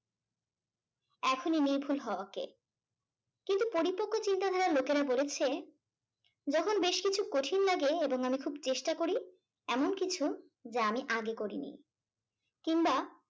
এখনি নির্ভুল হওয়া কে। কিন্তু পরিপক্ক চিন্তাধারার লোকেরা বলেছে যখন বেশ কিছু কঠিন লাগে এবং আমি খুব চেষ্টা করি এমন কিছু যা আমি আগে করিনি কিংবা